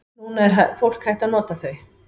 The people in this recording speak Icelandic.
Núna er fólk hætt að nota þau.